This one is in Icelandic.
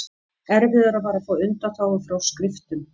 Erfiðara var að fá undanþágu frá skriftum.